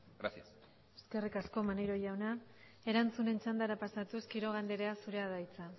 gracias eskerrik asko maneiro jauna erantzunen txandara pasatuz quiroga andrea zurea da hitza